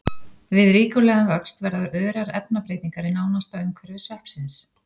Við ríkulegan vöxt verða örar efnabreytingar í nánasta umhverfi sveppsins.